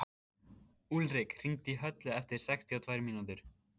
Úlrik, hringdu í Höllu eftir sextíu og tvær mínútur.